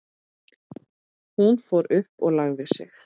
Hún fór upp og lagði sig.